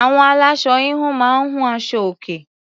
Àwọn aláṣọ -híhun máa ń hun aṣọ-òkè.